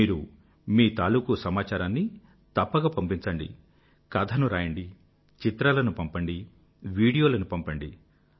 మీరు మీ తాలూకూ సమాచారాన్ని తప్పక పంపించండి కథను రాయండి చిత్రాలను పంపండి వీడియోలను పంపండి